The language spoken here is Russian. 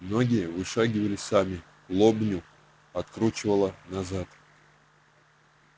ноги вышагивали сами лобню откручивало назад